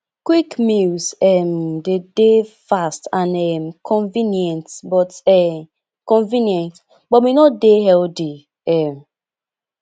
quick meals um de dey fast and um convenient but um convenient but may not dey healthy um